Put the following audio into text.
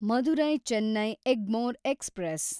Madurai Chennai Egmore express